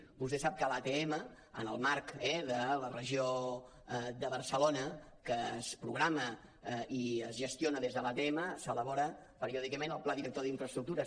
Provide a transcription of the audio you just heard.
vostè sap que a l’atm en el marc de la regió de barcelona que es programa i es gestiona des de l’atm s’elabora periòdicament el pla director d’infraestructures